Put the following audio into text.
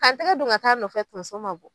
Ka n tɛgɛ don ka taa'a nɔfɛ tonso ma bɔ